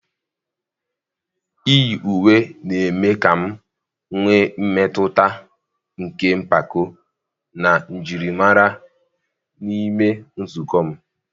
Iyi uwe na-eme ka m nwee mmetụta nke mpako na njirimara n'ime nzukọ m.